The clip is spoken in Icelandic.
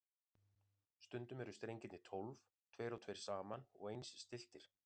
Stundum eru strengirnir tólf, tveir og tveir saman og eins stilltir.